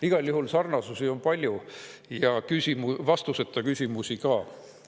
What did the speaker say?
Igal juhul on sarnasusi palju ja vastuseta küsimusi ka.